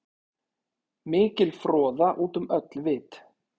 Mikil froða út um öll vit.